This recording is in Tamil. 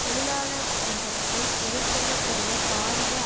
தொழிலாளவர்க்கத்தை எதிர்கொள்ளக் கூடிய பாரிய